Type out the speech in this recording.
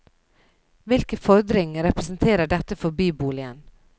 Hvilken fordring representerer dette for byboligen?